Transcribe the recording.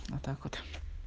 а так вот